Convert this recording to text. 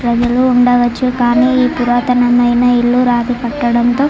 గదిలో ఉండవచ్చు కానీ ఇది పురాతనమైన ఇల్లు రాతి కట్టడం.